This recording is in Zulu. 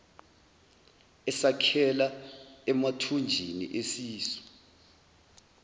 esakhela emathunjini esisu